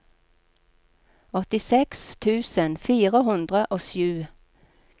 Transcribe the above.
åttiseks tusen fire hundre og sju